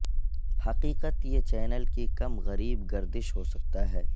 حقیقت یہ چینل کی کم غریب گردش ہو سکتا ہے